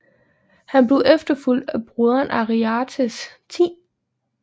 Han blev efterfulgt af broderen Ariarathes 10